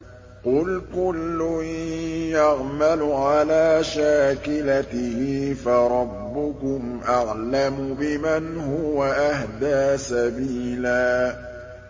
قُلْ كُلٌّ يَعْمَلُ عَلَىٰ شَاكِلَتِهِ فَرَبُّكُمْ أَعْلَمُ بِمَنْ هُوَ أَهْدَىٰ سَبِيلًا